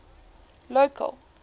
local